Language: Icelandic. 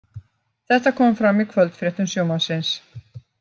Þetta kom fram í kvöldfréttum Sjónvarpsins